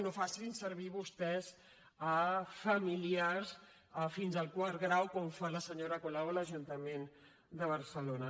no facin servir vostès familiars fins al quart grau com fa la senyora colau a l’ajuntament de barcelona